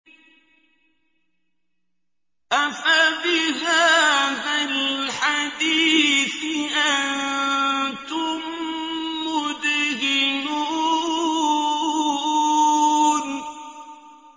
أَفَبِهَٰذَا الْحَدِيثِ أَنتُم مُّدْهِنُونَ